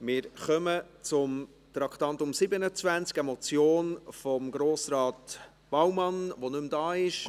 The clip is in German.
Wir kommen zum Traktandum 27, eine Motion von Grossrat Baumann, der nicht mehr hier ist.